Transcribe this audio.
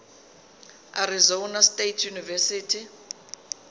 arizona state university